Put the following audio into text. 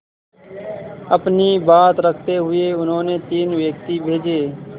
अपनी बात रखते हुए उन्होंने तीन व्यक्ति भेजे